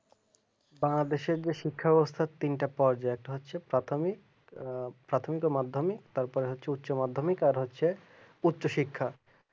বাংলাদেশের শিক্ষা ব্যবস্থার তিনটা পর্যায় তো হচ্ছে প্রাথমিক প্রাথমিক মাধ্যমিক তারপর হচ্ছে উচ্চ মাধ্যমিক আর হচ্ছে উচ্চশিক্ষা